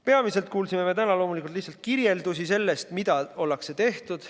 Peamiselt kuulsime täna lihtsalt kirjeldusi sellest, mis on tehtud.